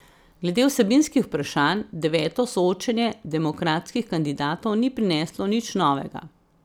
Glede vsebinskih vprašanj deveto soočenje demokratskih kandidatov ni prineslo nič novega.